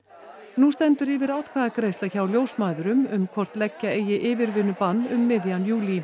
nú stendur yfir atkvæðagreiðsla hjá ljósmæðrum um hvort leggja eigi yfirvinnubann um miðjan júlí